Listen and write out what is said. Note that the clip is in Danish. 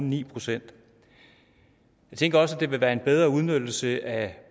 ni procent jeg tænker også at det vil være en bedre udnyttelse af